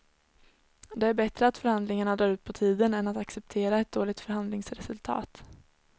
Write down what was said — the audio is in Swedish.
Det är bättre att förhandlingarna drar ut på tiden än att acceptera ett dåligt förhandlingsresultat.